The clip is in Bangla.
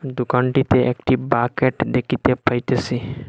দোকানটিতে একটি বাকেট দেখিতে পাইতেছি।